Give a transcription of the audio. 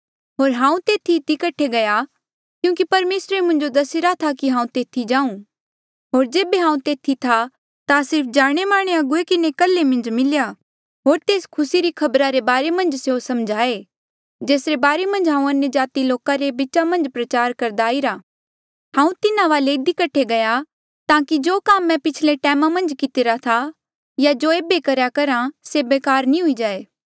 होर हांऊँ तेथी इधी कठे गया क्यूंकि परमेसरे मुंजो दसिरा था कि हांऊँ तेथी जांऊँ होर जेबे हांऊँ तेथी था ता सिर्फ जाणेमाने अगुवे किन्हें कल्हे मन्झ मिलेया होर तेस खुसी री खबरा रे बारे मन्झ स्यों समझाए जेसरे बारे मन्झ हांऊँ अन्यजाति लोका रे बीचा मन्झ प्रचार करदा आईरा हांऊँ तिन्हा वाले इधी कठे गया ताकि जो काम मैं पिछले टैमा मन्झ कितिरा था या जो ऐबे करेया करहा से बेकार नी हुई जाए